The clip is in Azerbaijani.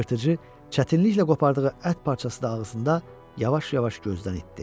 Yırtıcı çətinliklə qopardığı ət parçası da ağzında yavaş-yavaş gözdən itdi.